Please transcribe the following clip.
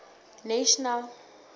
national